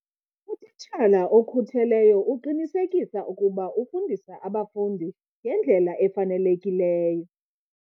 Utitshala okhutheleyo uqinisekisa ukuba ufundisa abafundi ngendlela efanelekileyo.